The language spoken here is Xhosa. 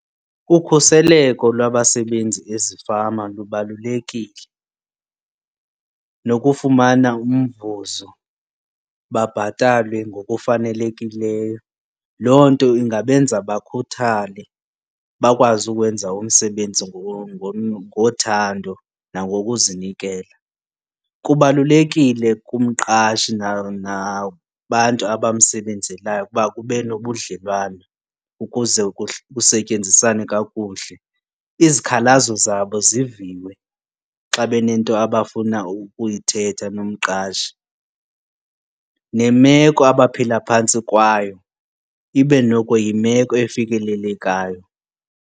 Ukhuseleko lwabasebenzi ezifama lubalulekile nokufumana umvuzo babhatalwe ngokufanelekileyo. Loo nto ingabenza bakhuthale, bakwazi ukuwenza umsebenzi ngothando nangokuzinikela. Kubalulekile kumqashi nabantu abamsebenzelayo ukuba kube nobudlelwane ukuze kusetyenziswana kakuhle. Izikhalazo zabo ziviwe xa benento abafuna ukuyithetha nomqashi nemeko abaphila phantsi kwayo ibe noko yimeko efikelelekayo.